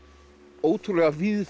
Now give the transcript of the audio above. ótrúlega